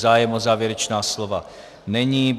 Zájem o závěrečná slova není.